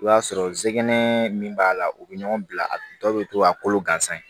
I b'a sɔrɔ zigɛnɛ min b'a la u bɛ ɲɔgɔn bila dɔw bɛ to a kolo gansan ye